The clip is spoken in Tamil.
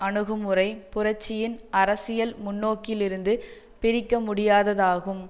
அணுகுமுறை புரட்சியின் அரசியல் முன்னோக்கிலிருந்து பிரிக்கமுடியாததாகும்